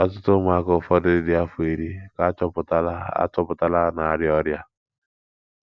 Ọtụtụ ụmụaka, ụfọdụ dị afọ iri, ka achọpụtala achọpụtala na arịa ọrịa.